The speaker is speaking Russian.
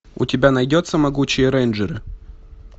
у тебя найдется могучие рейнджеры